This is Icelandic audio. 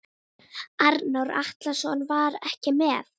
Arnór Atlason var ekki með.